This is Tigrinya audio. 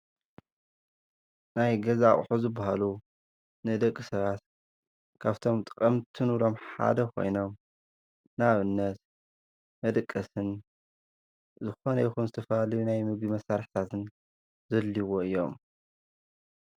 ናይ ገዛ ኣቁሑ ዝባሃሉ ንደቂ ሰባት ካብፍቶም ጠቀምቲ እንብሎም ሓደ ኮይኖም ንኣብነት መደቀስን ዝኮነ ይኩን ዝተፈላለዩ ናይ ምግቢ ሳርሒታት ዘድልይዎ እዮም፡፡